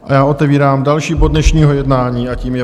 A já otevírám další bod dnešního jednání a tím je